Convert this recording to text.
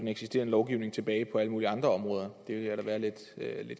eksisterende lovgivning tilbage på alle mulige andre områder det ville jeg da være lidt